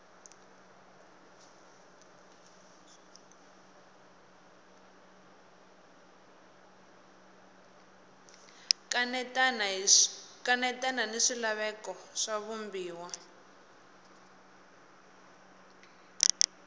kanetana ni swilaveko swa vumbiwa